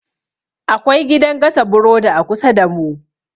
Akwai gidan gasa burodi a kusa damu.